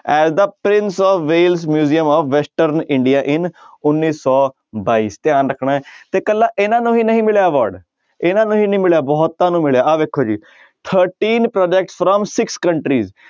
As the prince of Wales museum of western India in ਉੱਨੀ ਸੌ ਬਾਈ ਧਿਆਨ ਰੱਖਣਾ ਹੈ ਤੇ ਇਕੱਲਾ ਇਹਨਾਂ ਨੂੰ ਹੀ ਨਹੀਂ ਮਿਲਿਆ award ਇਹਨਾਂ ਨੂੰ ਹੀ ਨੀ ਮਿਲਿਆ ਬਹੁਤਾਂ ਨੂੰ ਮਿਲਿਆ ਆਹ ਵੇਖੋ ਜੀ thirteen project from six countries